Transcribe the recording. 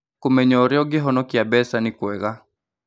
Kũmenya ũrĩa ũngĩhonokia mbeca nĩ kwega.